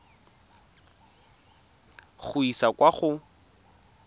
go e isa kwa go